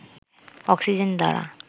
oxygen দ্বারা